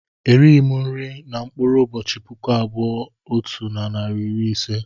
Erighị m nri na mkpụrụ ụbọchị puku abụọ otu narị na iri ise